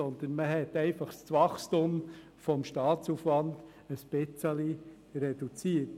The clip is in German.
Sondern man hat einfach das Wachstum des Staatsaufwands ein wenig reduziert.